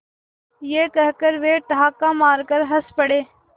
यह कहकर वे ठहाका मारकर हँस पड़े